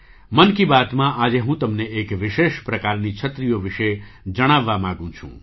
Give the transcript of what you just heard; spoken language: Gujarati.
'મન કી બાત'માં આજે હું તમને એક વિશેષ પ્રકારની છત્રીઓ વિશે જણાવવા માગું છું